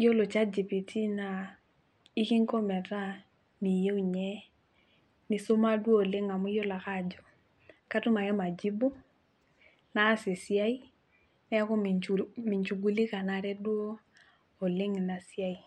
yiolo chat gpt naa ikinko metaa miyieu ninye nisuma duo oleng amu iyiolo ake ajo katum ake majibu naas esiai neeku minchugulikanare duo oleng inasiai.